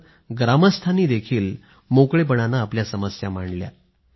ग्रामस्थांनीही मोकळेपणानं आपल्या समस्या मांडल्या